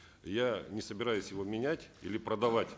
я не собираюсь его менять или продавать